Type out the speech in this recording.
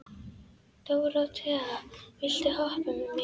Dóróthea, viltu hoppa með mér?